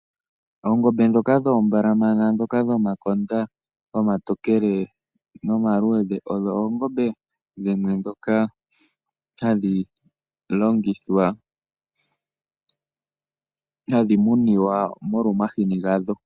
Oongombe ndhoka dhoombalamana dhomakonda omatokele nomaluudhe ,odho oongombe ndhoka hadhi munwa molwa omahini gadho.